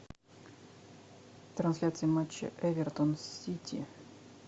трансляция матча эвертон сити